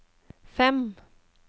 fem